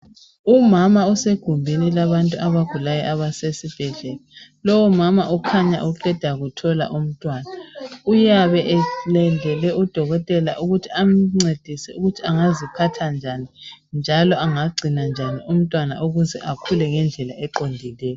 Umama usegumbini labantu abagulayo abasesibhedlela. Lowu umama ukhanya uqeda kuthola umntwana. Uyabe alindele udokotela ukuthi amncedise ukuthi engaziphatha njani njalo angagcina njani umntwana ukuthi akule ngendlela eqondileyo.